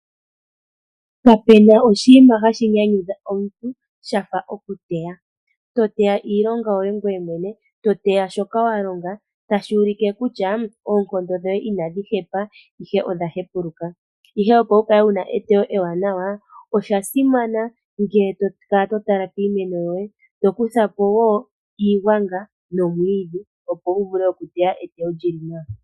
Kapu na oshinima hashi nyanyudha omuntu sha fa okuteya. To teya iilonga yoye ngoye mwene, to teya shoka wa longa, tashi ulike kutya oonkondo dhoye inadhi hepa, ihe odha hepuluka. Ihe opo wu kale wu na eteyo ewaanawa osha simana ngele to kala to tala piimeno yoye to kutha po iigwanga nomwiidhi, opo wu vule okuteya eteyo li li nawa.